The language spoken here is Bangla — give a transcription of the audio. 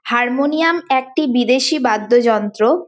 হারমোনিয়াম একটি বিদেশী বাদ্যযন্ত্র।